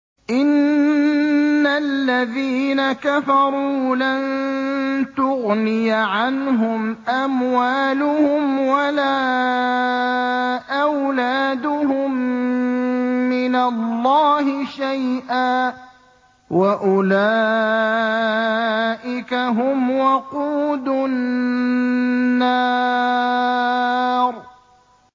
إِنَّ الَّذِينَ كَفَرُوا لَن تُغْنِيَ عَنْهُمْ أَمْوَالُهُمْ وَلَا أَوْلَادُهُم مِّنَ اللَّهِ شَيْئًا ۖ وَأُولَٰئِكَ هُمْ وَقُودُ النَّارِ